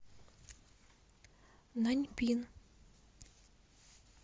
наньпин